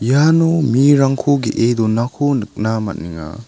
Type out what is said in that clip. iano mirangko ge·e donako nikna man·enga.